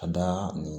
A da nin